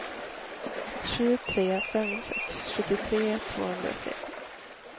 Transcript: sju tre fem sex sjuttiotre tvåhundratre